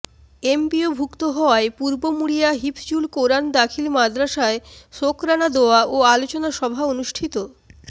এমপিওভুক্ত হওয়ায় পূর্ব মুড়িয়া হিফজুল কোরআন দাখিল মাদরাসায় শোকরানা দোয়া ও আলোচনা সভা অনুষ্ঠিত